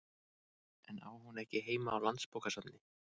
En á hún ekki heima á Landsbókasafni?